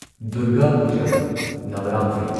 Durga Puja Navratri